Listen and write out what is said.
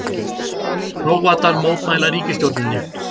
Króatar mótmæla ríkisstjórninni